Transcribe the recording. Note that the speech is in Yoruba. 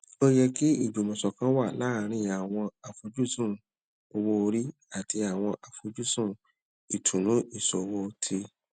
o yẹ kí ìjùmòsòkan wà láàárín àwọn àfojúsùn owó orí àti àwọn àfojúsùn ìtùnú ìṣòwò ti